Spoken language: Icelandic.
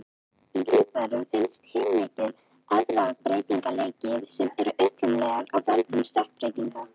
Í lífverum finnst heilmikill erfðabreytileiki sem er upprunalega af völdum stökkbreytinga.